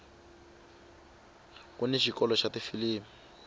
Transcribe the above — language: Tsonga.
kuni xikolo xa tifilimi